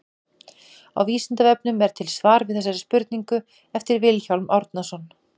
Á Vísindavefnum er til svar við þessari spurningu eftir Vilhjálm Árnason.